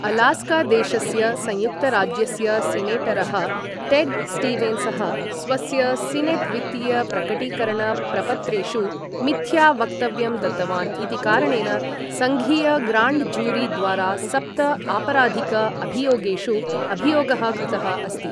अलास्कादेशस्य संयुक्तराज्यस्य सिनेटरः टेड् स्टीवेन्सः स्वस्य सिनेट् वित्तीय प्रकटीकरण प्रपत्रेषु मिथ्या वक्तव्यं दत्तवान् इति कारणेन संघीय ग्राण्ड जूरी द्वारा सप्त आपराधिक अभियोगेषु अभियोगः कृतः अस्ति ।